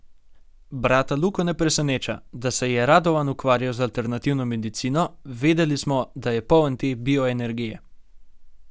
Brata Luko ne preseneča, da se je Radovan ukvarjal z alternativno medicino: 'Vedeli smo, da je poln te bioenergije.